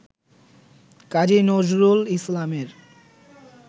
কাজী নজরুল ইসলামের